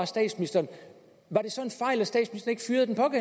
statsministeren var det så